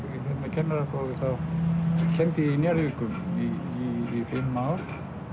kennaraprófi þá kenndi ég í Njarðvíkum í fimm ár